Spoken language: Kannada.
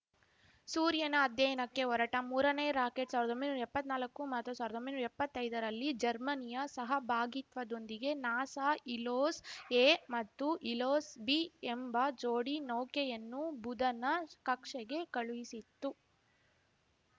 ಸೂರ್ಯನ ಅಧ್ಯಯನಕ್ಕೆ ಹೊರಟ ಮೂರನೇ ರಾಕೆಟ್‌ ಸಾವ್ರ್ದೊಂಬೈನೂರಾ ಎಪ್ಪತ್ನಾಲಕ್ಕು ಮತ್ತು ಸಾವ್ರ್ದೊಂಬೈನೂರಾ ಎಪ್ಪತ್ತೈದರಲ್ಲಿ ಜರ್ಮನಿಯ ಸಹಭಾಗಿತ್ವದೊಂದಿಗೆ ನಾಸಾ ಹಿಲೋಸ್‌ಎ ಮತ್ತು ಹಿಲೋಸ್‌ಬಿ ಎಂಬ ಜೋಡಿ ನೌಕೆಯನ್ನು ಬುಧನ ಕಕ್ಷೆಗೆ ಕಳುಹಿಸಿತ್ತು